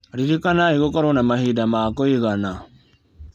Ririkanai gũkorwo na mahinda ma kũigana.